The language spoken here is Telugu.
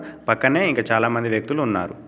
పక్కనే ఇంక చాలామంది వ్యక్తులు ఉన్నారు.